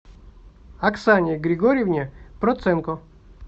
оксане григорьевне проценко